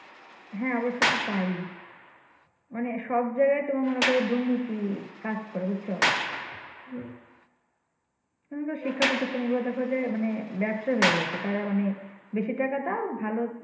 হ্যাঁ অব্যশই তাই মানে সব জায়গাতে তোমার মনে কর দুর্নীতি কাজ করে বুঝছো? তেমন করে শিক্ষা প্রতিষ্ঠাগুলো দেখো যে মানি ব্যবসা হয়ে গেছে। তারা মানি বেশি টাকা দাও